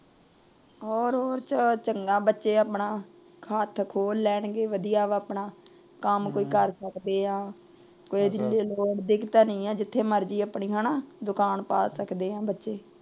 ਹੋਰ ਹੋਰ ਚੰਗਾ, ਬੱਚੇ ਆਪਣਾ ਖਾਤਾ ਖੋਲ ਲੈਣਗੇ। ਵਧੀਆ ਵਾ ਆਪਣਾ ਕੰਮ ਕੋਈ ਕਰ ਸਕਦੇ ਆ। ਕੋਈ ਦਿੱਕਤ ਨਹੀਂ ਏ। ਹਣਾ ਜਿੱਥੇ ਮਰਜ਼ੀ ਆਪਣੀ ਦੁਕਾਨ ਪਾ ਸਕਦੇ ਏ ਬੱਚੇ ।